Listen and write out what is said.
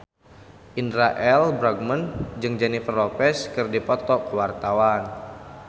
Indra L. Bruggman jeung Jennifer Lopez keur dipoto ku wartawan